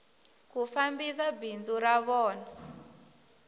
ku fambisa bindzu ra vona